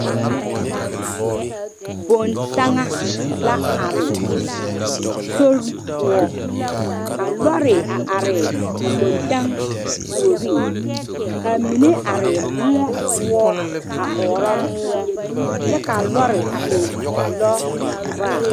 Bontaŋa la are sori poɔ ka lɔɔre are a boŋtaŋa puoriŋ ka a mine are moɔ poɔ a ɔro moɔ kyɛ kaa lɔɔre e lɔvaa.